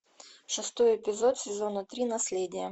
шестой эпизод сезона три наследие